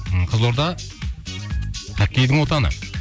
қызылорда хоккейдің отаны